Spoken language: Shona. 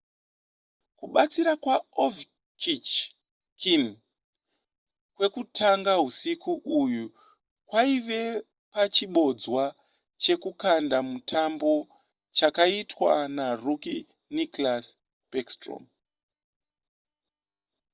kubatsira kwaovechkin kwekutanga husiku uhu kwaive pachibodzwa chekukunda mutambo chakaitwa narookie nicklas backstrom